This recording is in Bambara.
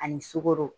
Ani sukoro